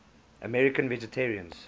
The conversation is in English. american vegetarians